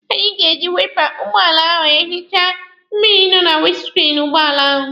Anyị ga-eji waipa ụgbọala ahụ ehicha mmịrị nọ na winiskriini ụgbọala ahụ.